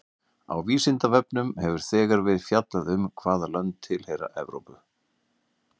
Á Vísindavefnum hefur þegar verið fjallað um hvaða lönd tilheyra Evrópu.